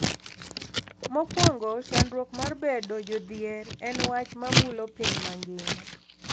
Mokwongo, chandruok mar bedo jodhier en wach ma mulo piny mangima.